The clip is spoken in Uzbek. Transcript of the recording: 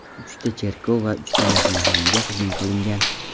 Uchta cherkov va uchta mehmonxonaga hujum qilingan.